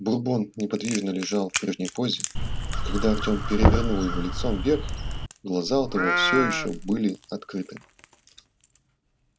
бурбон неподвижно лежал в прежней позе и когда артём перевернул его лицом вверх глаза у того все ещё были открыты